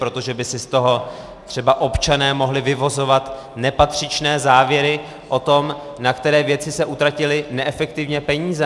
Protože by si z toho třeba občané mohli vyvozovat nepatřičné závěry o tom, na které věci se utratily neefektivně peníze.